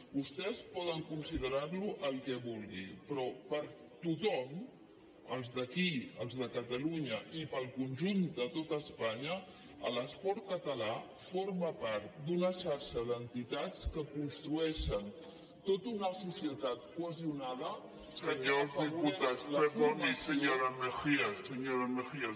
vostès poden considerar lo el que vulguin però per a tothom els d’aquí els de catalunya i per al conjunt de tot espanya l’esport català forma part d’una xarxa d’entitats que construeixen tota una societat cohesionada que afavoreix